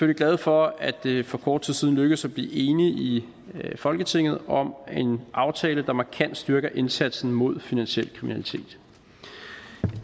glade for at det for kort tid siden lykkedes at blive enige i folketinget om en aftale der markant styrker indsatsen mod finansiel kriminalitet